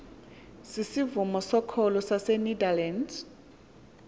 sisivumo sokholo sasenederland